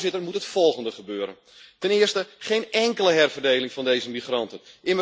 Daarom moet het volgende gebeuren ten eerste, geen enkele herverdeling van deze migranten.